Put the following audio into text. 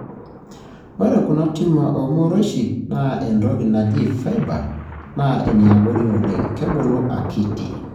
ore kuna tumor o- morioshi naata entoki naaji fibre, na eniabori oleng(kebulu akiiti).